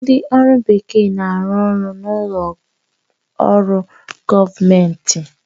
Ndị ọrụ bekee na-arụ ọrụ n'ụlọ ọrụ gọọmentị